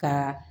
Ka